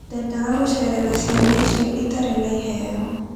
Ndendaga gũceerera ciana icio itarĩ na iheo.